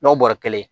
N'o bɔrɛ kelen